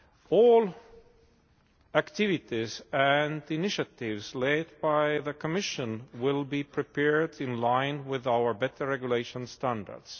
All activities and initiatives led by the Commission will be prepared in line with our better regulation standards.